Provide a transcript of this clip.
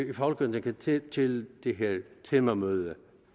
i folketinget til til det her temamøde